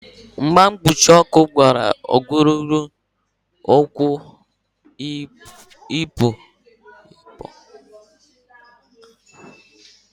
Ngwa mkpuchi ọkụ bara ulu n'igbochi okirikiri ọkụ ị pu